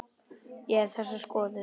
Ég hef ekki þessa skoðun.